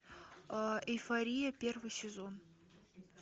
эйфория первый сезон